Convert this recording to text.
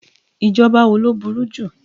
Ìjọba wo lo bẹ̀rù jù?